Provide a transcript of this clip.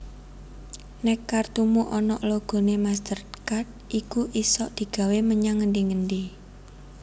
Nek kartumu onok logone MasterCard iku isok digawe menyang ngendi endi